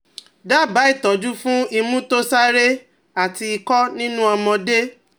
Daba itọju fun imu to sare ati Ikọ ninu ọmọde